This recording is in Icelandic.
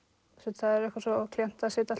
það er eitthvað svo klént að sitja